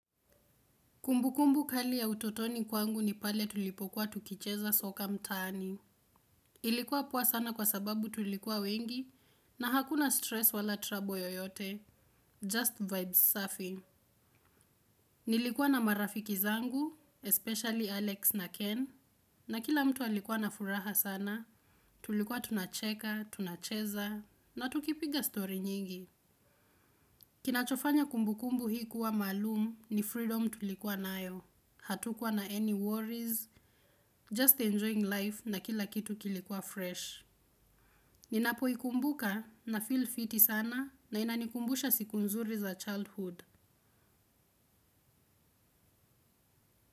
Kumbukumbu kali ya utotoni kwangu ni pale tulipokuwa tukicheza soka mtaani. Ilikuwa poa sana kwa sababu tulikuwa wengi na hakuna stress wala trouble yoyote. Just vibes safi. Nilikuwa na marafiki zangu, especially Alex na Ken, na kila mtu alikuwa na furaha sana. Tulikuwa tunacheka, tunacheza, na tukipiga stori nyingi. Kinachofanya kumbukumbu hii kuwa maalum ni freedom tulikuwa nayo. Hatukuwa na any worries, just enjoying life na kila kitu kilikuwa fresh. Ninapoikumbuka na feel fiti sana na inanikumbusha siku nzuri za childhood.